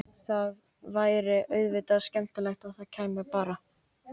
Það væri auðvitað skemmtilegast að þú kæmir bara!